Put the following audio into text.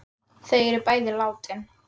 Þau eru bæði látin.